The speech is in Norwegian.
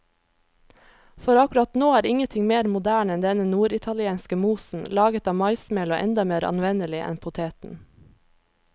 For akkurat nå er ingenting mer moderne enn denne norditalienske mosen, laget av maismel og enda mer anvendelig enn poteten.